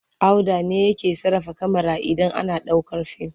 Auda ne yake sarrafa kyamara idan ana ɗaukar fim.